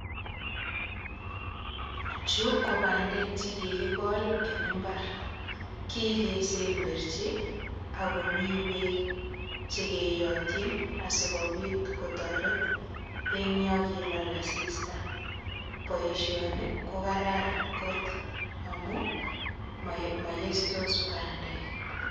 Chu ko bandek che kikikol en mbar kikesemberchi akomi beek chekeyotchin asikobit kotoret eng yo kilal asista.